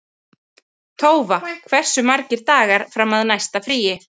Tófa, hversu margir dagar fram að næsta fríi?